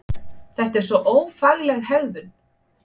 Þetta er svo ófagleg hegðun!